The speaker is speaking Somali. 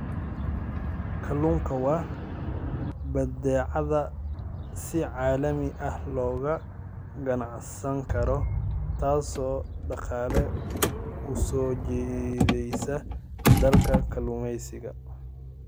Kalluunku waa badeecad si caalami ah looga ganacsan karo, taasoo dhaqaale u soo jiideysa dalalka kalluumeysiga.